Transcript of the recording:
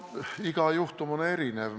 Iga juhtum on erinev.